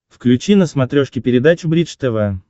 включи на смотрешке передачу бридж тв